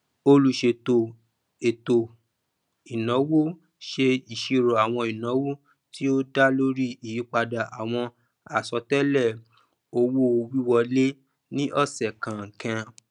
olùṣètò ètòìnáwó ṣe ìṣírò àwọn ináwó tí ó dá lórí ìyípadà àwọn àsọtélè owówíwọlé ní ọsẹ kọọkan